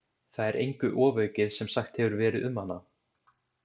Það er engu ofaukið sem sagt hefur verið um hana.